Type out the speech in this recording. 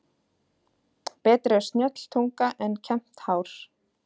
Betri er snjöll tunga en kembt hár.